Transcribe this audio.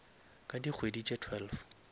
ka dikgwedi tše twelve